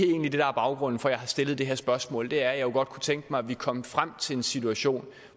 egentlig er baggrunden for at jeg har stillet det her spørgsmål er at jeg godt kunne tænke mig at vi kom frem til en situation